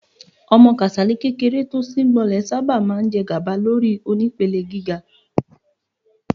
Ọmọ kíláàsì kékeré tó síngbọnlẹ̀ sábà máa ń jẹgàba lórí onípele gíga.